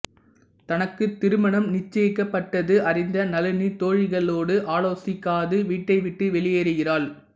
தனக்கு திருமணம் நிச்சயிக்கப்பட்டது அறிந்த நளினி தோழிகளோடு ஆலோசிக்காது வீட்டைவிட்டு வெளியேறுகிறாள்